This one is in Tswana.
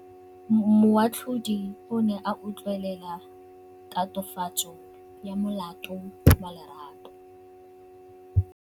Moatlhodi o ne a utlwelela tatofatsô ya molato wa Lerato.